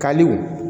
Kaliw